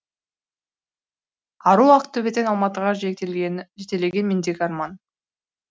ару ақтөбеден алматыға жетелеген мендегі арман